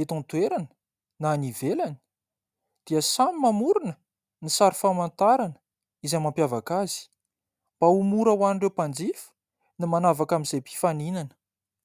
eto an-toerana na any ivelany dia samy mamorona ny sary famantarana izay mampiavaka azy mba ho mora hoan'ireo mpanjifa ny manavaka amin'izay mpifaninana.